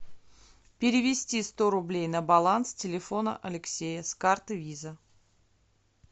перевести сто рублей на баланс телефона алексея с карты виза